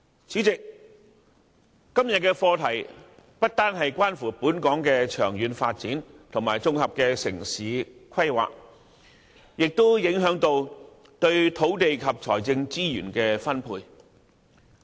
今天討論的課題不單關乎本港長遠發展和綜合城市規劃，同樣影響土地及財政資源的分配。